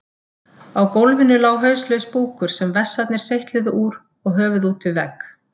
Á gólfinu lá hauslaus búkur sem vessarnir seytluðu úr og höfuð út við vegg.